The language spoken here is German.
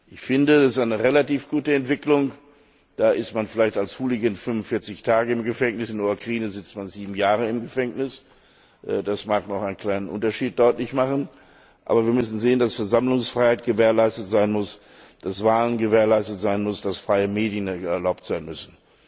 Ich finde, das ist eine relativ gute Entwicklung. Da ist man vielleicht als Hooligan 45 Tage im Gefängnis, in der Ukraine sitzt man sieben Jahre im Gefängnis, das mag noch einen kleinen Unterschied deutlich machen. Aber wir müssen sehen, dass Versammlungsfreiheit gewährleistet sein muss, dass Wahlen gewährleistet sein müssen, dass freie Medien erlaubt sein müssen.